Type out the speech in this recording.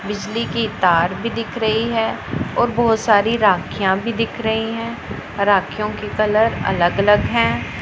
बिजली की तार भी दिख रही है और बहोत सारी राखियां भी दिख रही हैं राखियों के कलर अलग अलग हैं।